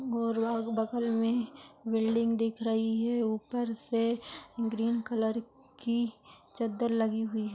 बगल मे बिल्डिंग दिख रही है ऊपर से ग्रीन कलर की चद्दर लगी हुई है।